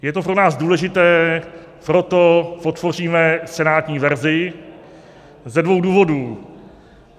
Je to pro nás důležité, proto podpoříme senátní verzi - ze dvou důvodů.